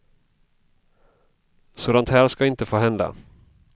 Sådant här ska inte få hända.